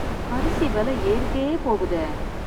அரிசி வெல ஏறிட்டே போகுதே.